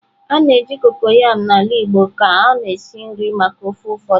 A na-eji kokoyam n'ala Igbo ka ọ na-esi nri maka ofe ụfọdụ.